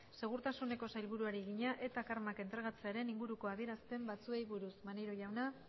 segurtasuneko sailburuari egina etak armak entregatzearen inguruko adierazpen batzuei buruz maneiro jauna